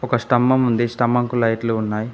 ఒక స్తంభం ఉంది స్తంభం కి లైట్లు ఉన్నాయి.